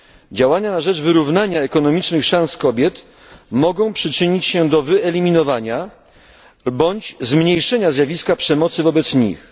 Działania na rzecz wyrównania ekonomicznych szans kobiet mogą przyczynić się do wyeliminowania bądź zmniejszenia zjawiska przemocy wobec nich.